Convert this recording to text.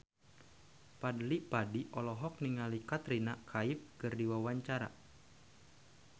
Fadly Padi olohok ningali Katrina Kaif keur diwawancara